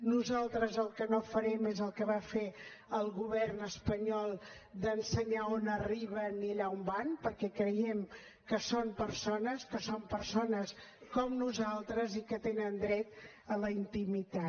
nosaltres el que no farem és el que va fer el govern espanyol d’ensenyar on arriben i allà on van perquè creiem que són persones que són persones com nosaltres i que tenen dret a la intimitat